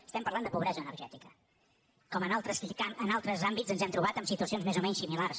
estem parlant de pobresa energètica com en altres àmbits ens hem trobat en situacions més o menys similars